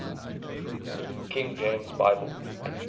king james bible